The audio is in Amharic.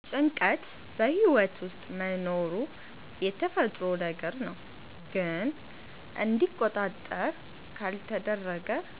ጭንቀት በሕይወት ውስጥ መኖሩ የተፈጥሮ ነገር ነው፣ ግን እንዲቆጣጠር ካልተደረገ